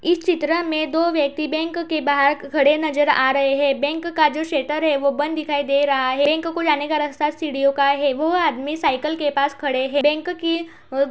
इस चित्र में दो व्यक्ति बैंक के बाहर खड़े नजर आ रहे हैं। बैंक का जो शटर है वो बंद दिखाई दे रहा है। बैंक को जाने का रास्ता सीढियों का है। वो आदमी साईकल के पास खड़े है। बैंक की --